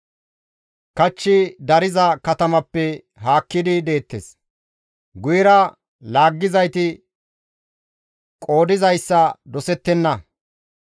Kachchi dariza katamatappe haakkidi deettes; guyera laaggizayti qoodizayssa dosettenna.